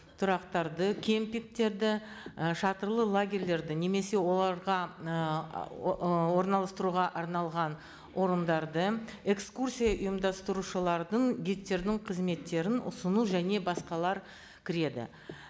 тұрақтарды кемпингтерді і шатырлы лагерьлерді немесе оларға ііі орналастыруға арналған орындарды экскурсия ұйымдастырушылардың гидтердің қызметтерін ұсыну және басқалар кіреді